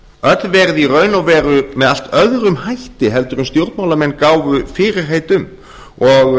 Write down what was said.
öll verið í raun og veru með allt öðrum hætti heldur en stjórnmálamenn gáfu fyrirheit um og